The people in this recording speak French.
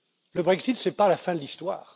Le Brexit, ce n'est pas la fin de l'histoire.